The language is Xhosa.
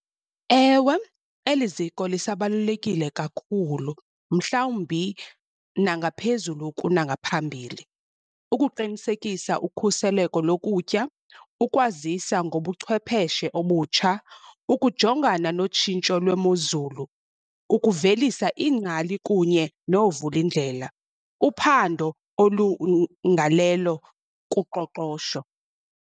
Ewe, eli ziko lisabalulekile kakhulu mhlawumbi nangaphezulu kunangaphambili. Ukuqinisekisa ukhuseleko lokutya ukwazisa ngobuchwepheshe obutsha, ukujongana notshintsho lwemozulu, ukuvelisa iingcali kunye noovulindlela, uphando kuqoqosho.